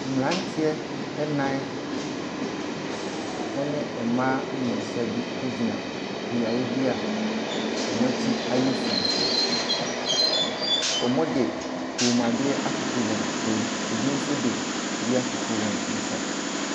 Mmeranteɛ nnan ne mmaa mmiɛnsa bi gyina beaeɛ bi a wɔn akyi ayɛ sum. Wɔde kɔnmuadeɛ atoto wɔ kɔn mu, bi nso de bi atoto wɔn nsa.